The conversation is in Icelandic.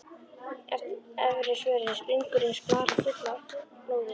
Efri vörin springur eins blaðra full af blóði.